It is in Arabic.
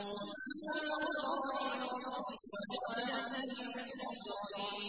بِمَا غَفَرَ لِي رَبِّي وَجَعَلَنِي مِنَ الْمُكْرَمِينَ